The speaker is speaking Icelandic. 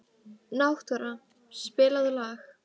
Náttúra, spilaðu lag.